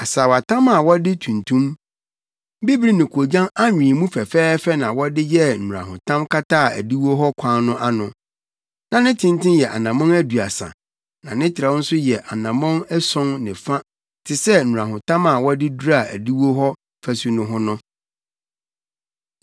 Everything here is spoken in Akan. Asaawatam a wɔde tuntum, bibiri ne koogyan anwen mu fɛfɛɛfɛ na wɔde yɛɛ nnurahotam kataa adiwo hɔ kwan no ano. Na ne tenten yɛ anammɔn aduasa na ne trɛw nso yɛ anammɔn ason ne fa te sɛ nnurahotam a wɔde duraa adiwo hɔ afasu no ho no.